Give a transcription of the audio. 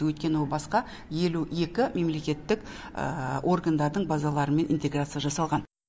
өйткені ол басқа елу екі мемлекеттік органдардың базаларымен интеграция жасалған